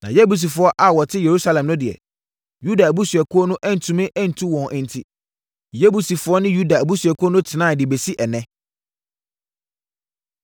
Na Yebusifoɔ a wɔte Yerusalem no deɛ, Yuda abusuakuo no antumi antu wɔn enti, Yebusifoɔ ne Yuda abusuakuo no tenaeɛ de bɛsi ɛnnɛ.